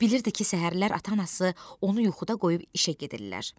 Bilirdi ki, səhərlər ata-anası onu yuxuda qoyub işə gedirlər.